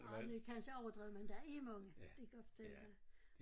Ah det kansje overdrevet men der er mange det kan jeg godt fortælle dig